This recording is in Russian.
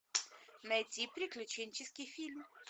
найти приключенческий фильм